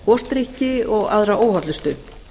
gosdrykki og aðra óhollustu